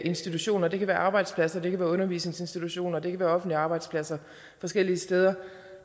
institutioner det kan være arbejdspladser det kan være undervisningsinstitutioner det kan være offentlige arbejdspladser forskellige steder